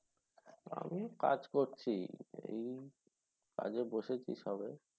আমিও কাজ করছি। এই কাজে বসেছি সবে।